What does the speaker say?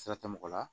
Sira tɛ mɔgɔ la